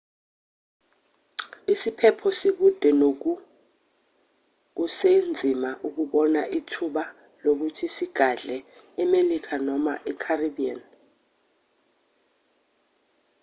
isiphepho sikude nogu kusenzima ukubona ithuba lokuthi sigadle emelika noma e-caribbean